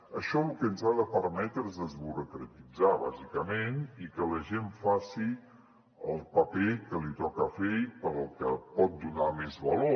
això el que ens ha de permetre és desburocratitzar bàsicament i que la gent faci el paper que li toca fer i pel que pot donar més valor